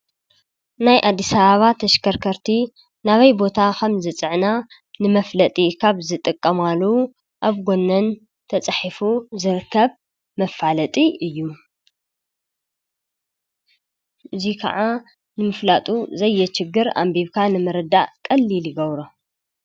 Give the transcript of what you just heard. ናይ ኣዲስ ኣበባ ተሽከርከርቲ ናበይ ቦታ ከም ዝፅዕና ንመፍለጢ ካብ ዝጥቀማሉ ኣብ ጎነን ተፃሒፉ ዝርከብ መፋለጢ እዩ:: እዚ ከዓ ንምፍላጡ ዘየችግር ኣንቢብካ ንምርዳእ ቀሊል ይገብሮ::